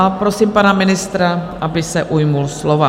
A prosím pana ministra, aby se ujal slova.